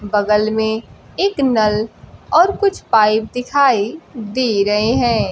बगल में एक नल और कुछ पाइप दिखाई दे रहे हैं।